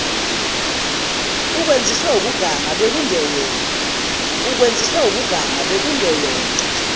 ukwenziswe ukuganga bekungeyona